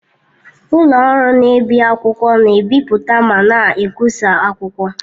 Ụlọ ọrụ na-ebi akwụkwọ na-ebipụta ma na-ekwụsa akwụkwọ.